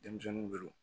Denmisɛnninw de don